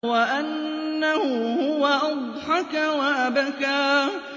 وَأَنَّهُ هُوَ أَضْحَكَ وَأَبْكَىٰ